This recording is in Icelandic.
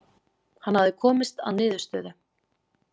Hann hafði komist að niðurstöðu.